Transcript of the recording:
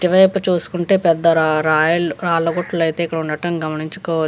ఇటువైపు చేసుకుంటే పెద్ద రా రాయిల్ రాళ్ల గుట్టలు అయితే ఇక్కడ ఉండటం గమనించుకో --